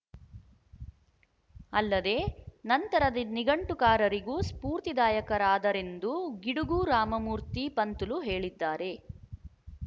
ಅಲ್ಲದೆ ನಂತರದ ನಿಘಂಟುಕಾರರಿಗೂ ಸ್ಫೂರ್ತಿದಾಯಕರಾದರೆಂದು ಗಿಡುಗು ರಾಮಮೂರ್ತಿ ಪಂತುಲು ಹೇಳಿದ್ದಾರೆ